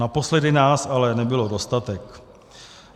Naposledy nás ale nebylo dostatek.